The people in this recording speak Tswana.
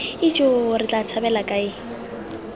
ijoo re tla tshabela kae